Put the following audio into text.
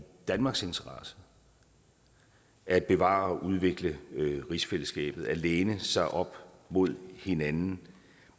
danmarks interesse at bevare og udvikle rigsfællesskabet og at læne sig op mod hinanden